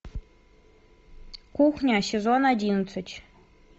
кухня сезон одиннадцать